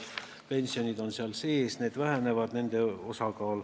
Pensionid on seal sees, nende osakaal väheneb.